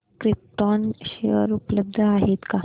krypton share उपलब्ध आहेत का